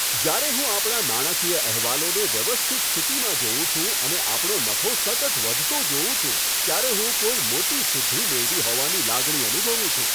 જ્યારે હું આપણા નાણાકીય અહેવાલોને વ્યવસ્થિત સ્થિતિમાં જોઉં છું અને આપણો નફો સતત વધતો જોઉં છું, ત્યારે હું કોઈ મોટી સિદ્ધિ મેળવી હોવાની લાગણી અનુભવું છું.